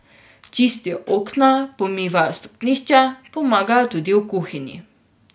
Čistijo okna, pomivajo stopnišče, pomagajo tudi v kuhinji.